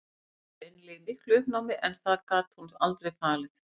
Hún var greinilega í miklu uppnámi en það gat hún aldrei falið.